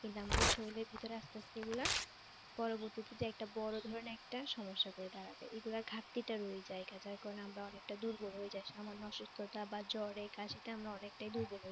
কিন্তু আমাদের শরীরের ভেতরে আস্তে আস্তে এগুলা পরবর্তীতে একটা বড় ধরনের একটা সমস্যা হয়ে দাঁড়াবে এগুলার ঘাটতিটা রয়ে যায়গা যার কারনে আমরা অনেকটা দুর্বল হয়ে যাই সামান্য অসুস্থতা বা জ্বরে কাশিতে আমরা অনেকটাই দুর্বল হয়ে যাই।